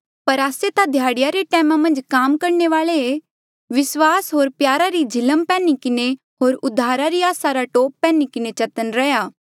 पर आस्से ता ध्याड़ीया रे टैमा मन्झ काम करणे वाले ऐें विस्वास होर प्यारा री झिलम पैन्ही किन्हें होर उद्धारा री आसा रा टोप पैन्ही किन्हें चतन्न रैहया